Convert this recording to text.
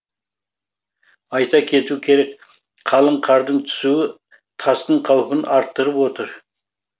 айта кету керек қалың қардың түсуі тасқын қаупін арттырып отыр